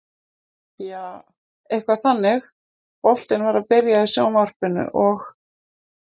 Jaa, eitthvað þannig, boltinn var að byrja í sjónvarpinu og.